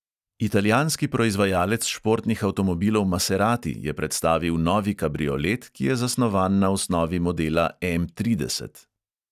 Italijanski proizvajalec športnih avtomobilov maserati je predstavil novi kabriolet, ki je zasnovan na osnovi modela M trideset.